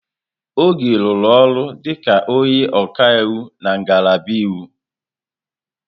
Oge rụrụ ọrụ dịka onye ọka iwu na ngalaba iwu.